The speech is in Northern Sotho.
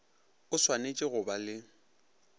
o swanetše go ba le